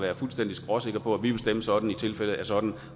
er fuldstændig skråsikre på at vi vil stemme sådan i tilfælde af sådan